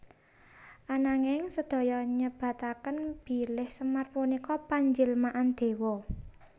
Ananging sedaya nyebataken bilih Semar punika panjilmaan déwa